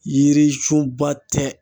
Yiri sunba tɛ